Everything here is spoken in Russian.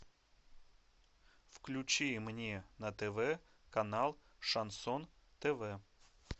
включи мне на тв канал шансон тв